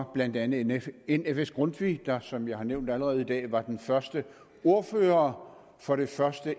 var blandt andet en nfs grundtvig der som jeg har nævnt allerede i dag var den første ordfører for det første